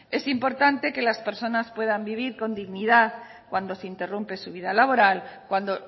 es importante que las personas puedan vivir con dignidad cuando se interrumpe su vida laboral cuando